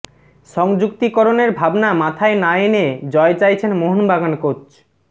সংযুক্তিকরণের ভাবনা মাথায় না এনে জয় চাইছেন মোহনবাগান কোচ